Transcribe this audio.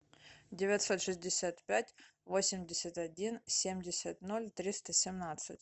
девятьсот шестьдесят пять восемьдесят один семьдесят ноль триста семнадцать